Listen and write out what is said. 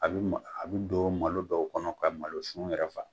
A bɛ ma a bɛ don malo dɔw kɔnɔ ka malo sun yɛrɛ fa.